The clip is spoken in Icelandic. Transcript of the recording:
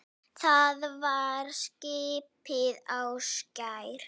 Það var skipið Ásgeir